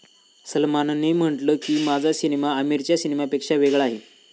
सलमानने म्हटलं की, 'माझा सिनेमा आमीरच्या सिनेमापेक्षा वेगळा आहे.